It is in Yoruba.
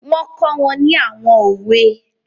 Wọ́n kọ́ wọn ní àwọn òwe